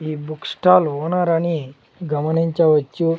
ఈ book stall owner అని గమనించవచ్చు.